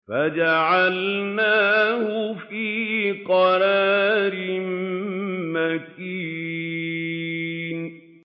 فَجَعَلْنَاهُ فِي قَرَارٍ مَّكِينٍ